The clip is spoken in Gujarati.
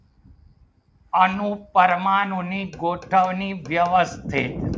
આનો પરમાણુની ગોઠવણી વ્યવસ્થિત